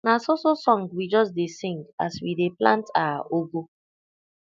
na so so song we just dey sing as we dey plant our ugu